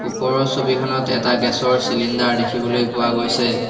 ওপৰৰ ছবিখনত এটা গেছ ৰ চিলিণ্ডাৰ দেখিবলৈ পোৱা গৈছে।